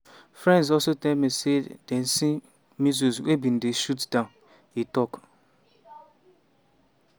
"friends also tell me say dem see missiles wey bin dey shot down" e tok.